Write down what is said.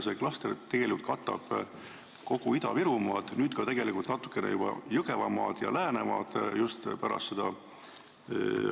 See klaster katab kogu Ida-Virumaad, pärast seda haldusreformi tegelikult ka juba natukene Jõgevamaad ja Läänemaad.